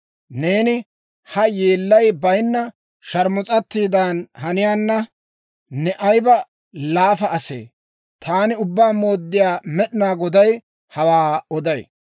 «‹ «Neeni ha yeellay bayinna sharmus'atiidan haniyaana, ne ayiba laafa asee! Taani Ubbaa Mooddiyaa Med'inaa Goday hawaa oday.